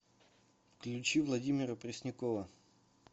включи владимира преснякова